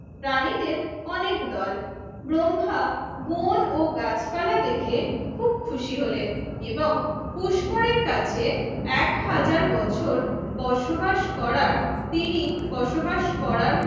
প্রাণীদের অনেক দল ব্রহ্মা বন ও গাছপালা দেখে খুব খুশি হলেন এবং পুষ্করের কাছে এক হাজার বছর বসবাস করার তিনি বসবাস করার